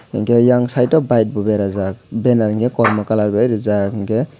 hinkhe yang side o bike bo berajak banner hinkhe kormo colour bai rijak hinkhe.